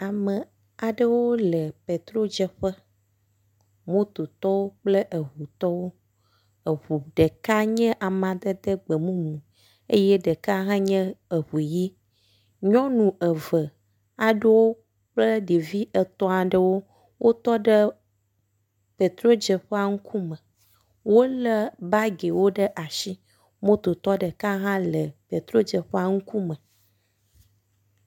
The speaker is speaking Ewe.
Ame aɖewo le petrodzeƒe. Mototɔwo kple eŋutɔwo. Eŋu ɖeka nye amadede gbemumu eye ɖeka hã nye eŋu ʋi. Nyɔnu eve aɖewo kple ɖevi etɔ̃ aɖewo wotɔ ɖe petrodzeƒea ŋkume. Wolé bagiwo ɖe asi. Mototɔ ɖeka hã le petrodzeƒea ŋkume.